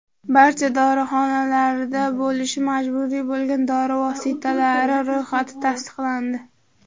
Barcha dorixonalarda bo‘lishi majburiy bo‘lgan dori vositalari ro‘yxati tasdiqlandi.